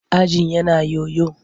Ajin yana yoyo.